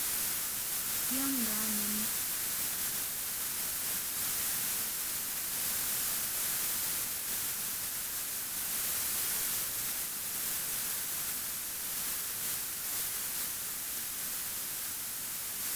Kiamdoi ano ni